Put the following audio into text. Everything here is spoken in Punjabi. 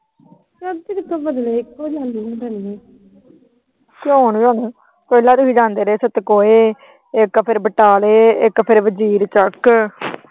ਪਹਿਲਾ ਦੇ ਵੀ ਜਾਂਦੇ ਰਹੇ। ਸਤਕੋਏ, ਇਕ ਫਿਰ ਬਟਾਲੇ, ਇੱਕ ਫਿਰ ਤੱਕ।